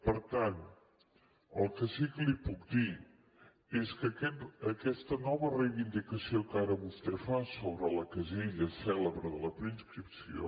per tant el que sí que li puc dir és que aquesta nova reivindicació que ara vostè fa sobre la casella cèlebre de la preinscripció